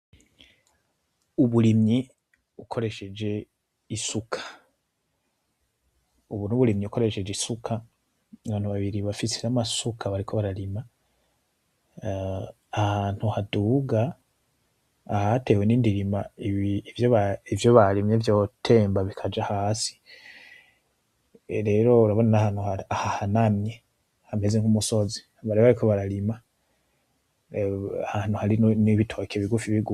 Uburimyi ukoresheje isuka. Ubu n'uburimyi ukoresheje isuka abantu babiri bafise n'amasuka bariko bararima, ahantu haduga ahatewe n'indirima ivyo barimye vyotemba bikaja hasi rero urabona ahantu hahanamye hameze nk'umusozi bariko bararima ahantu hari n'ibitoke bigufi bigufi.